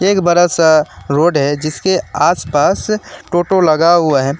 ये बड़ा सा रोड है जिसके आस पास टोटो लगा हुआ है।